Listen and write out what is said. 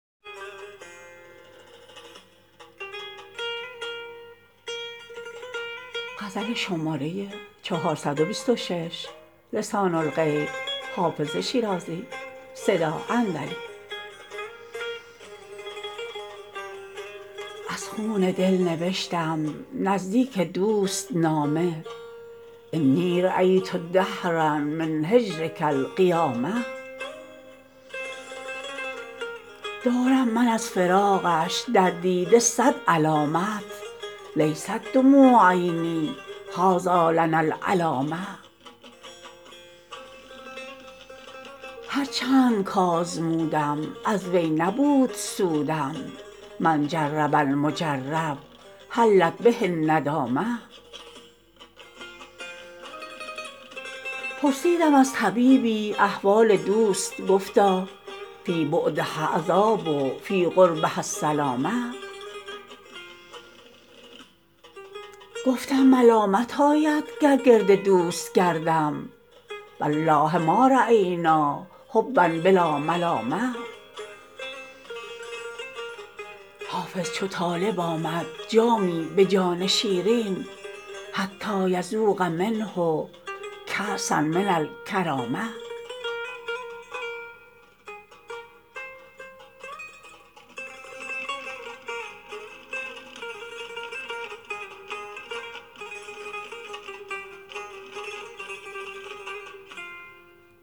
از خون دل نوشتم نزدیک دوست نامه انی رأیت دهرا من هجرک القیامه دارم من از فراقش در دیده صد علامت لیست دموع عینی هٰذا لنا العلامه هر چند کآزمودم از وی نبود سودم من جرب المجرب حلت به الندامه پرسیدم از طبیبی احوال دوست گفتا فی بعدها عذاب فی قربها السلامه گفتم ملامت آید گر گرد دوست گردم و الله ما رأینا حبا بلا ملامه حافظ چو طالب آمد جامی به جان شیرین حتیٰ یذوق منه کأسا من الکرامه